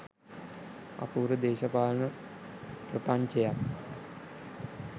අපූරු දේශපාලන ප්‍රපංචයක්